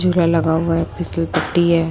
झूला लगा हुआ है फिसल पट्टी है।